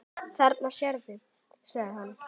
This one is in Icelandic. Þarna sérðu, sagði hann.